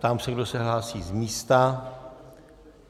Ptám se, kdo se hlásí z místa.